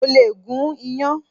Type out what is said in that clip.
Mo lè gún iyán.